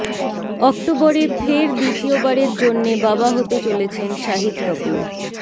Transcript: অক্টোবরে ফের দ্বিতীয়বারের জন্যে বাবা হতে চলেছেন শাহিদ কপূর